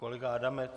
Kolega Adamec?